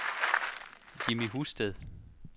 Jimmy Husted